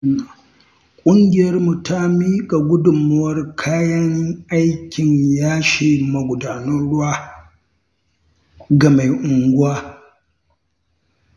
Ƙungiyarmu ta miƙa gudunmawar kayan aikin yashe magudanan ruwa ga mai unguwa.